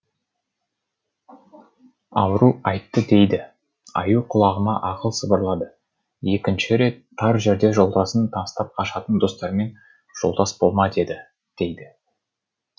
ауру айтты дейді аю құлағыма ақыл сыбырлады екінші рет тар жерде жолдасын тастап қашатын достармен жолдас болма деді дейді